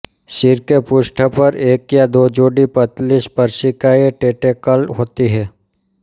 शिर के पृष्ठ पर एक या दो जोड़ी पतली स्पर्शिकाएँ टेंटेकल होती हैं